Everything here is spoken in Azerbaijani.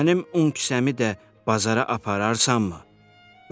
“Mənim un kisəmi də bazara apararsanmı?”